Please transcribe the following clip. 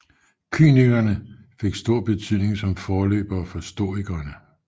Kynikerne fik stor betydning som forløbere for stoikerne